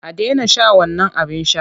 A daina shan wannan abin sha!